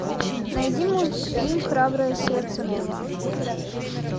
найди мультфильм храбрая сердцем два